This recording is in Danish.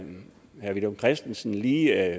herre villum christensen lige